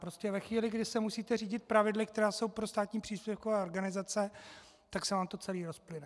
Prostě ve chvíli, kdy se musíte řídit pravidly, která jsou pro státní příspěvkové organizace, tak se vám to celé rozplyne.